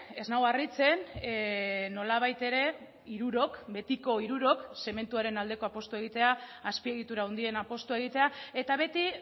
ez nau harritzen nolabait ere hirurok betiko hirurok zementuaren aldeko apustua egitea azpiegitura handien apustua egitea eta beti